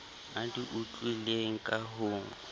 a di utlwileng ka ho